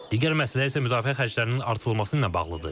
Digər məsələ isə müdafiə xərclərinin artırılması ilə bağlıdır.